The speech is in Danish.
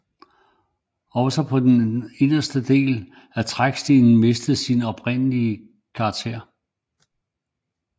Også på anden vis har den inderste del af Trækstien mistet sin oprindelige karakter